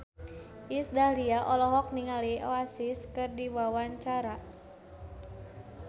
Iis Dahlia olohok ningali Oasis keur diwawancara